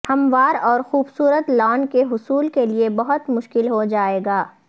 ہموار اور خوبصورت لان کے حصول کے لئے بہت مشکل ہو جائے گا